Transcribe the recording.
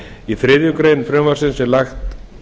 í þriðju greinar frumvarpsins er lagt